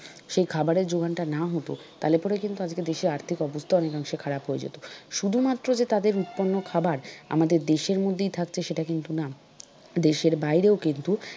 সেই খাবারের যোগানটা না হত তাহলে পরে কিন্তু আজকে দেশে আর্থিক অবস্থা অনেকাংশে খারাপ হয়ে যেত। শুধুমাত্র যে তাদের উৎপন্ন খাবার আমাদের দেশের মধ্যেই থাকছে সেটা কিন্তু না দেশের বাইরে ও কিন্তু,